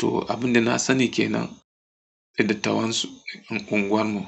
To abun da na sani ke nan da dattawan su unguwar mu.